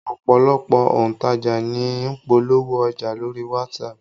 Ọ̀pọ̀lọpọ̀ òǹtajà ní ń polówó ọjà lórí WhatsApp